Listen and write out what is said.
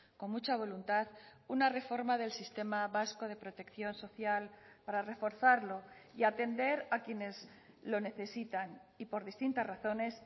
con mucha voluntad una reforma del sistema vasco de protección social para reforzarlo y atender a quienes lo necesitan y por distintas razones